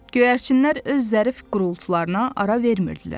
Göyərçinlər öz zərif qurultusuna ara vermirdilər.